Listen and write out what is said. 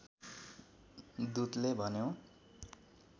दूतले भन्यो